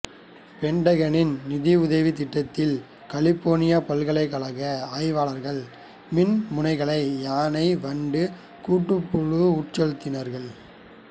பென்டகனின் நிதியுதவித் திட்டத்தில் கலிபோர்னியாப் பல்கலைக்கழக ஆய்வாளர்கள் மின் முனைகளை யானை வண்டு கூட்டுப்புழுனுள் உட்செலுத்தினார்கள்